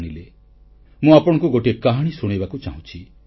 ଭାଇ ଓ ଭଉଣୀମାନେ ମୁଁ ଆପଣଙ୍କୁ ଗୋଟିଏ କାହାଣୀ ଶୁଣାଇବାକୁ ଚାହୁଁଛି